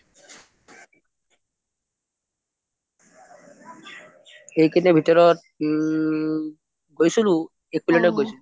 এইকেইদিনৰ ভিতৰত ওমম গৈছিলো একলেণ্ড t গৈছিলো